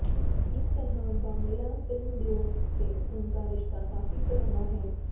इस तरह बांग्ला फिल्मद्योग से उनका रिश्ता काफी पुराना है